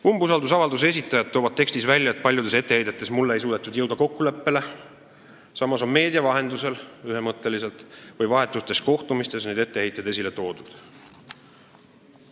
Umbusaldusavalduse esitajad toovad tekstis välja, et paljudes etteheidetes mulle ei suudetud jõuda kokkuleppele, samas on meedia vahendusel või vahetutes kohtumistes need etteheited ühemõtteliselt esile toodud.